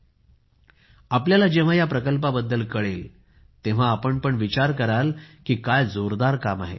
तुम्हाला जेव्हा या प्रकल्पाबद्दल कळेल तेव्हा तुम्ही पण विचार कराल की काय जोरदार काम आहे